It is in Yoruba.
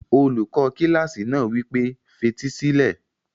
Olùkọ́ kílásì náà wí pé, fetí sílẹ̀!